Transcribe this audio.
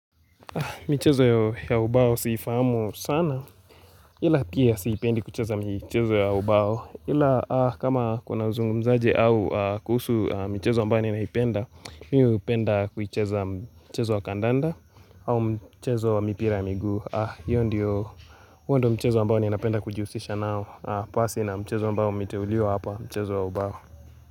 Michezo ya ubao si ifahamu sana ila pia sipendi kucheza michezo ya ubao ila kama kuna zungumzaje au kuhusu michezo mbao ni naipenda. Mimi hupenda kuicheza michezo wa kandanda. Au mchezo wa mipira ya miguu hiyo ndiyo huo ndiyo mchezo mbao ni napenda kujihusisha nao. Pasi na mchezo mbao umeteuliwa hapa mchezo ya ubao.